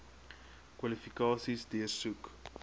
kwalifikasies deursoek